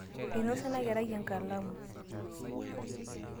einosa ena kerai enkalamu